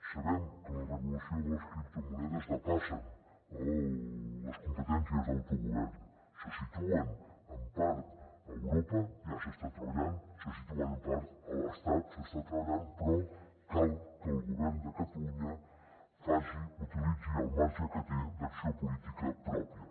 sabem que la regulació de les criptomonedes depassa les competències d’autogovern se situen en part a europa ja s’hi està treballant se situen en part a l’estat s’hi està treballant però cal que el govern de catalunya utilitzi el marge que té d’acció política pròpia